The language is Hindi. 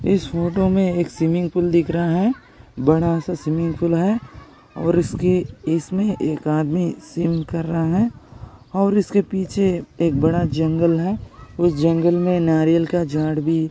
इस फोटो मे एक स्विमिंग पूल दिख रहा है बडासा स्विमिंग पूल है और इसके इसमें एक आदमी स्विमिंग कर रहा है और इसके पीछे एक बड़ा जंगल है उस जंगल में नारयल का झाड भी--